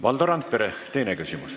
Valdo Randpere, teine küsimus.